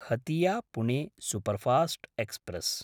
Hatia Pune superfast express